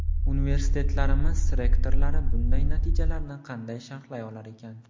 Universitetlarimiz rektorlari bunday natijalarni qanday sharhlay olar ekan?